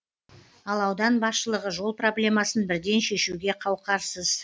ал аудан басшылығы жол проблемасын бірден шешуге қауқарсыз